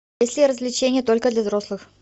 есть ли развлечения только для взрослых